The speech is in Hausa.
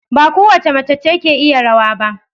Ba kowace mace ce ke iya rawa ba.